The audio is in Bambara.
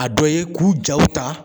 A dɔ ye k'u jaw ta